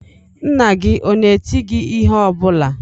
Nna gị ọ na-eti gị ihe ọ bụla?